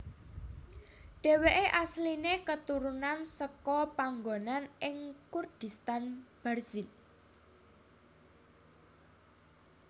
Dheweke asline keturunan seka panggonan ing Kurdistan Barzinj